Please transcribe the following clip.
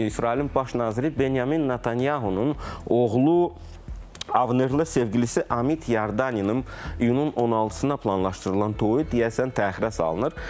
İsrailin baş naziri Benyamin Nətanyahunun oğlu Avnerlə sevgilisi Amit Yardaninin iyunun 16-na planlaşdırılan toyu deyəsən təxirə salınır.